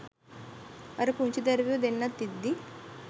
අර පුංචි දැරිවියො දෙන්නත් ඉද්දි